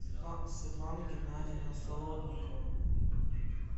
светлана геннадьевна солодникова